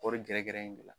Kɔɔri gɛrɛ gɛrɛ in de la